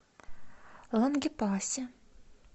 лангепасе